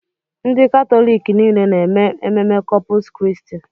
Ndị Katọlik niile na-eme ememme Kọpụs Kristi.